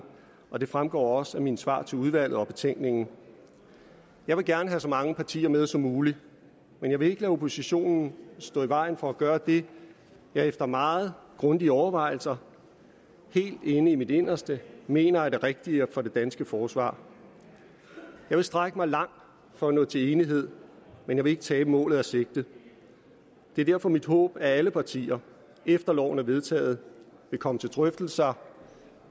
og det fremgår også af mine svar til udvalget og af betænkningen jeg vil gerne have så mange partier med som muligt men jeg vil ikke lade oppositionen stå i vejen for at gøre det jeg efter meget grundige overvejelser helt inde i mit inderste mener er det rigtige for det danske forsvar jeg vil strække mig langt for at nå til enighed men jeg vil ikke tabe målet af sigte det er derfor mit håb at alle partier efter at loven er vedtaget vil komme til drøftelser